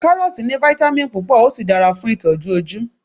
karọọti ni vitamin púpò o sí dára fún itoju oju